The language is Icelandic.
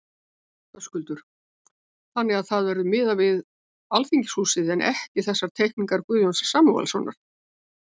Höskuldur: Þannig að það verður miðað við Alþingishúsið en ekki þessar teikningar Guðjóns Samúelssonar?